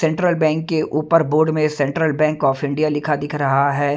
Central bank के ऊपर board में सेंट्रल बैंक ऑफ इंडिया लिखा दिख रहा है।